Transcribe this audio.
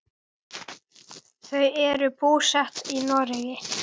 Þau eru búsett í Noregi.